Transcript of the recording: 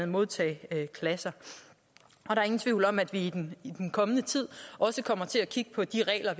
modtageklasser der er ingen tvivl om at vi i den kommende tid også kommer til at kigge på de regler